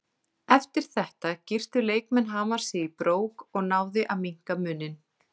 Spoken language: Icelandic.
Eftir þetta girtu leikmenn Hamars sig í brók og náði að minnka muninn.